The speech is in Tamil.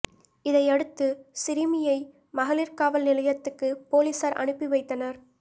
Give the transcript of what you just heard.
இதையடுத்து சிறுமியை மகளிர் காவல் நிலையத்துக்கு போலீஸார் அனுப்பி வைத்தனர்